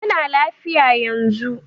Yana lafiya yanzu.